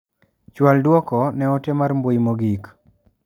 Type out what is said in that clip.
Chual duoko ne ote mar mbui mogik.